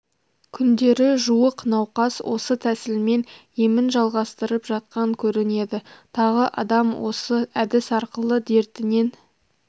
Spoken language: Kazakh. күндері жуық науқас осы тәсілмен емін жалғастырып жатқан көрінеді тағы адам осы әдіс арқылы дертінен